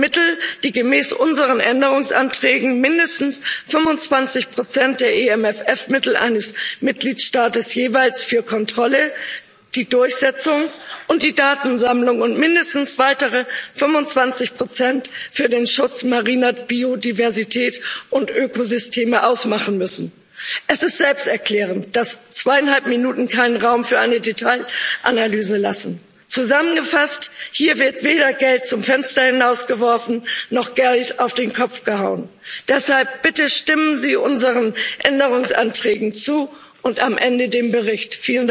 Mittel, die gemäß unseren Änderungsanträgen mindestens 25 der EMFF Mittel eines Mitgliedstaats jeweils für Kontrolle, die Durchsetzung und die Datensammlung und mindestens weitere 25 für den Schutz mariner Biodiversität und Ökosysteme ausmachen müssen. Es ist selbsterklärend, dass zweieinhalb Minuten keinen Raum für eine Detailanalyse lassen. Zusammengefasst Hier wird weder Geld zum Fenster hinausgeworfen noch Geld auf den Kopf gehauen. Deshalb Bitte stimmen Sie unseren Änderungsanträgen zu und am Ende dem Bericht!